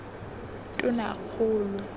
tonakgolo